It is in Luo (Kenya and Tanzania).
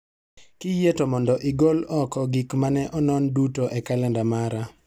Kiyie to mondo igol oko gik mane onon duto e kalenda mara